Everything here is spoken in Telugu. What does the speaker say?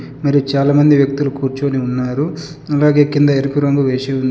మరి చాలా మంది వ్యక్తులు కూర్చొని ఉన్నారు అలాగే కింద ఎరుపు రంగు వేసి ఉన్--